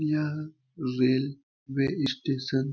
यह railway station --